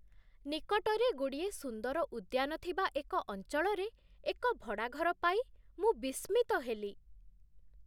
ନିକଟରେ ଗୁଡ଼ିଏ ସୁନ୍ଦର ଉଦ୍ୟାନ ଥିବା ଏକ ଅଞ୍ଚଳରେ ଏକ ଭଡ଼ାଘର ପାଇ ମୁଁ ବିସ୍ମିତ ହେଲି। ।